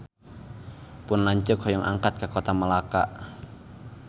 Pun lanceuk hoyong angkat ka Kota Melaka